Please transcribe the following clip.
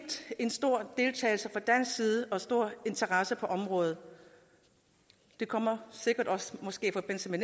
en stor deltagelse fra dansk side og stor interesse for området det kommer måske